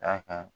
Da kan